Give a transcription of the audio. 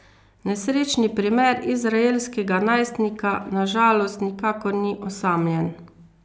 Nesrečni primer izraelskega najstnika na žalost nikakor ni osamljen.